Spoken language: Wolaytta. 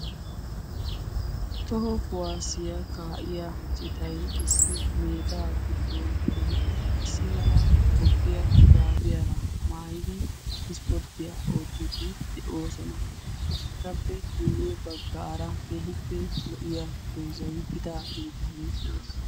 toho kuwaasiya kaa7iya citay issi meedaa giddon gelidi issi mala bogqiya shuraabiyaara maayidi ispporttiyaa oottiidi de'oosona. etappe miyye baggaara kehippe lo77iya donzayi gida gididage de7ees.